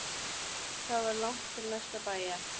Það var langt til næsta bæjar.